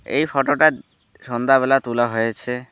এই ফটোটা সন্ধ্যা বেলা তোলা হয়েছে।